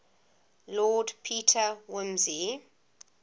lord peter wimsey